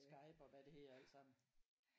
Skype og hvad det hedder alt sammen